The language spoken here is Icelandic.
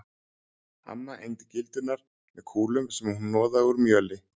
Amma egndi gildrurnar með kúlum sem hún hnoðaði úr mjöli.